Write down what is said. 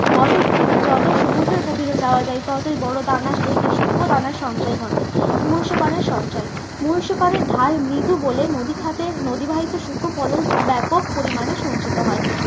বদ্বীপ থেকে যতই সমুদ্রের গভীরে যাওয়া যায় ততই বড়ো দানা সুক্ষ দানার সঞ্চয় ঘটে। মহীসোপানের সঞ্চয়। মহীসোপানের ঢাল মৃদু বলে নদী খাতের নদী বাহিত সুক্ষ ব্যাপক পরিমানে সঞ্চিত হয়।